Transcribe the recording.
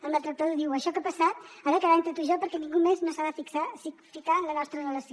el maltractador diu això que ha passat ha de quedar entre tu i jo perquè ningú més no s’ha de ficar en la nostra relació